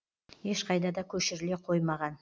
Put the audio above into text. ешқайда да көшіріле қоймаған